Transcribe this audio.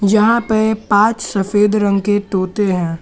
जहां पे पांच सफेद रंग के तोते है।